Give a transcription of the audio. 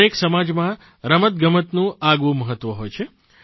દરેક સમાજમાં રમતગમતનું આગવું મહત્વ હોય છે